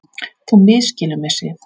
Þú misskilur mig, Sif.